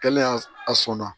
Kɛlen a sɔnna